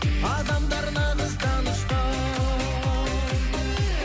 адамдар нағыз данышпан